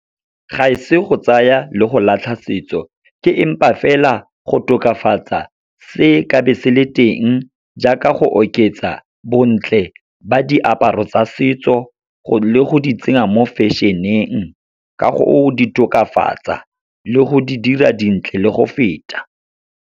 Ga e se go tsaya le go latlha setso, ke empa fela go tokafatsa se ka be se le teng, jaaka go oketsa bontle ba diaparo tsa setso, le go di tsenya mo fashion-eng, ka go di tokafatsa le go di dira dintle le go feta.